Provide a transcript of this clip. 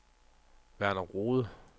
Verner Rohde